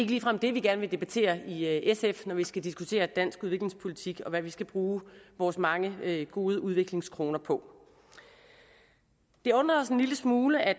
ligefrem det vi gerne vil debattere i sf når vi skal diskutere dansk udviklingspolitik og hvad vi skal bruge vores mange gode udviklingskroner på det undrer os en lille smule at